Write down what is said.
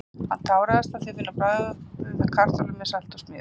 Hann táraðist af því að finna bragðið af kartöflum með salti og smjöri.